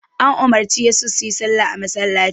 An umarci yasa suyi salla a masallaci.